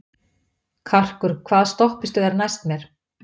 Karkur, hvaða stoppistöð er næst mér?